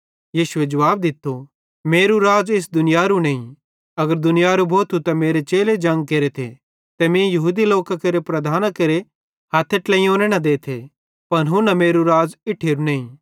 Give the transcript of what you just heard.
यीशुए जुवाब दित्तो मेरू राज़ इस दुनियारू नईं अगर दुनियारू भोथू त मेरे चेले जंग केरेथे ते मीं यहूदी लोकां केरे प्रधानां केरे हथ्थे ट्लेयोने न देथे पन हुन्ना मेरू राज़ इट्ठेरू नईं